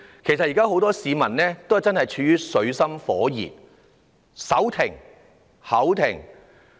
其實，現時很多市民也是處於水深火熱之中，"手停口停"。